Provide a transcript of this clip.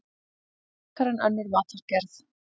Frekar en önnur matargerð.